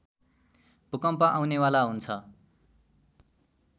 भूकम्प आउनेवाला हुन्छ